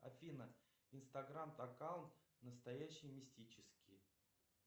афина инстаграм аккаунт настоящий мистический